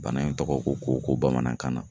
Bana in tɔgɔ ko koko bamanankan na